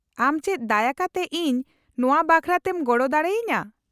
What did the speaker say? -ᱟᱢ ᱪᱮᱫ ᱫᱟᱭᱟ ᱠᱟᱛᱮ ᱤᱧ ᱱᱚᱶᱟ ᱵᱟᱠᱷᱨᱟ ᱛᱮᱢ ᱜᱚᱲᱚ ᱫᱟᱲᱮ ᱟᱹᱧᱟᱹ ?